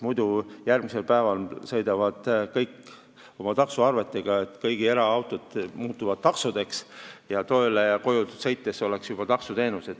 Muidu järgmisel päeval toovad kõik oma taksoarved, kõik eraautod muutuvad taksodeks ning tööle ja koju sõitmine oleks juba taksoteenus.